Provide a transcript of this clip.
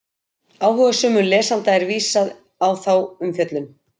Áhugasömum lesanda er vísað á þá umfjöllun.